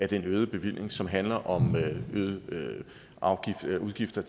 den øgede bevilling som handler om øgede om øgede udgifter